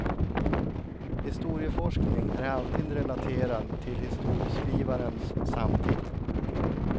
Historieforskning är alltid relaterad till historieskrivarens samtid.